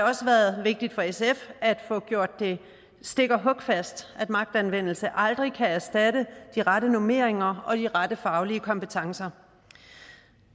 også været vigtigt for sf at få gjort det stik og hugfast at magtanvendelse aldrig kan erstatte de rette normeringer og de rette faglige kompetencer